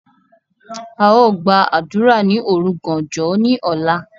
A Ó gba àdúrà ni òrugàànjọ ni ọ̀la.